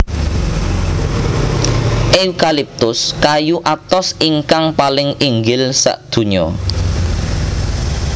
Eukaliptus kayu atos ingkang paling inggil sakdonya